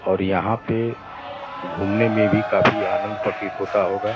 और यहां पे घूमने में भी काफी आनंद प्रतीत होता होगा।